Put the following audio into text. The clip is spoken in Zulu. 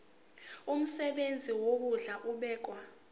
umsebenzi wokondla ubekwa